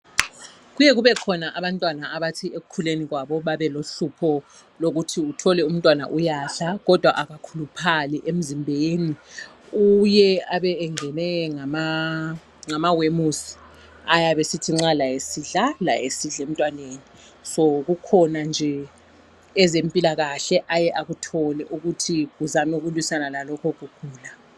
Kuyakube khona abantwana abathi ekukhuleni kwabo babelohlupho lokuthi uthole umntwana uyadla kodwa akakhuluphali emzimbeni. Uye abe engenwe ngamawemusi ayabe esithi nxa laye esidla lawo esidla emntwaneni. So kukhona nje ezempilakahle aye akuthole ukuthi uzame ukulwisana lalokho ukugula.